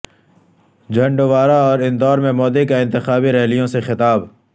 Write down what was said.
چھندواڑہ اور اندورمیں مودی کا انتخابی ریلیوں سے خطاب